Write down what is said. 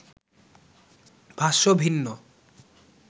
ভাষ্য ভিন্ন